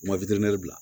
U ma witɛri bila